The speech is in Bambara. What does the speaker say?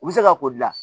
U bɛ se ka ko dilan